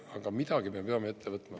Aga midagi me peame ette võtma.